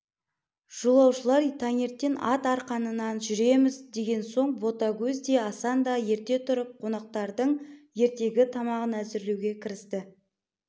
жолаушылар таңертең ат арқанынан жүреміз деген соң ботагөз де асан да ерте тұрып қонақтардың ертеңгі тамағын әзірлеуге кірісті